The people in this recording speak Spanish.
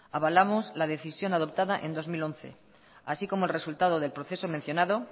avalamos la decisión adoptada en dos mil once así como el resultado del proceso mencionado